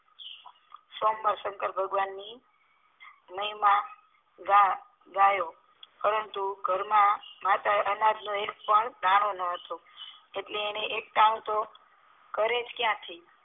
સોમવારે શંકર ભગવાનની મહિમા ગા ગાયો પરંતુ ઘરમા માટે અનાજનો એક પણ દાણો ન હતો એટલે એ એકટાણું તો કરેજ ક્યાંથી